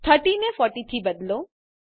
30 ને 40 થી બદલો